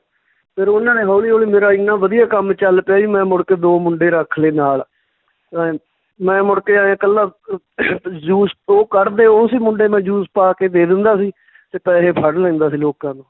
ਫਿਰ ਉਹਨਾਂ ਨੇ ਹੌਲੀ ਹੌਲੀ ਮੇਰਾ ਇੰਨਾਂ ਵਧੀਆ ਕੰਮ ਚੱਲ ਪਿਆ ਜੀ ਮੈਂ ਮੁੜ ਕੇ ਦੋ ਮੁੰਡੇ ਰੱਖ ਲਏ ਨਾਲ ਅਹ ਮੈਂ ਮੁੜ ਕੇ ਐਂ ਇਕੱਲਾ ਅਹ juice ਉਹ ਕੱਢਦੇ ਉਹ ਸੀ ਮੁੰਡੇ ਮੈਂ juice ਪਾ ਕੇ ਦੇ ਦਿੰਦਾ ਸੀ ਤੇ ਪੈਸੇ ਫੜ ਲੈਂਦਾ ਸੀ ਲੋਕਾਂ ਤੋਂ